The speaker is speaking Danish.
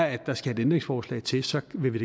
at der skal et ændringsforslag til så vil vi